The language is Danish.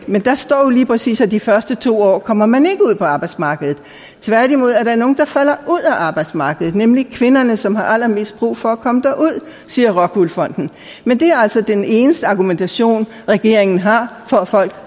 men der står lige præcis at i de første to år kommer man ikke ud på arbejdsmarkedet tværtimod er der nogle der falder ud af arbejdsmarkedet nemlig kvinderne som har allermest brug for at komme derud siger rockwool fonden men det er altså den eneste argumentation regeringen har for at folk